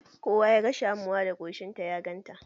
Kowa ya ga Shamuwa da koshinta ya ganta.